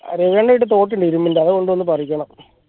ഇരുമ്പിന്റെ അത് കൊണ്ട് വന്ന് പറിക്കണം